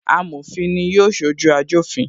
Amofin ni yóò sojú ajofin